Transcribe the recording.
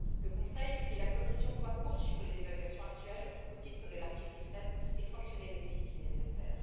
Le Conseil et la Commission doivent poursuivre les évaluations actuelles au titre de l'article 7 et sanctionner les pays, si nécessaire.